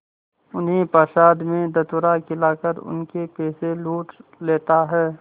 उन्हें प्रसाद में धतूरा खिलाकर उनके पैसे लूट लेता है